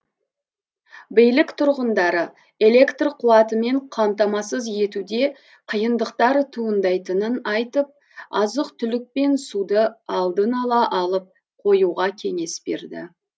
билік тұрғындары электр қуатымен қамтамасыз етуде қиындықтар туындайтынын айтып азық түлік пен суды алдын ала алып қоюға кеңес берді